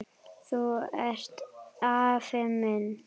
Þú ert afi minn!